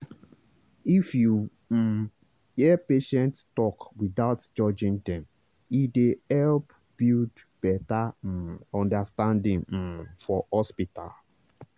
if you um hear patient talk without judging dem e dey help build better um understanding um for hospital.